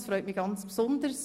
Darüber freue ich mich sehr.